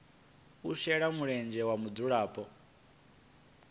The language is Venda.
u shela mulenzhe ha mudzulapo